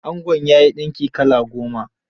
Angon ya yi dinki kala goma.